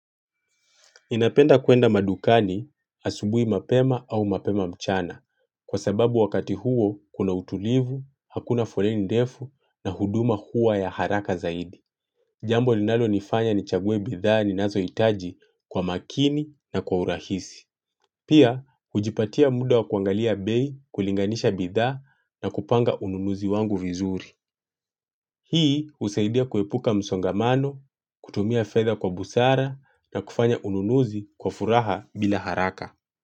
Ninapenda kwenda madukani asubuhi mapema au mapema mchana kwa sababu wakati huo kuna utulivu, hakuna foleni ndefu na huduma huwa ya haraka zaidi. Jambo linalonifanya nichague bidhaa ninazohitaji kwa makini na kwa urahisi. Pia, hujipatia muda wa kuangalia bei kulinganisha bidhaa na kupanga ununuzi wangu vizuri. Hii husaidia kuepuka msongamano, kutumia feather kwa busara na kufanya ununuzi kwa furaha bila haraka.